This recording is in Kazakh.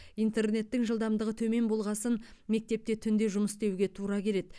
интернеттің жылдамдығы төмен болғасын мектепте түнде жұмыс істеуге тура келеді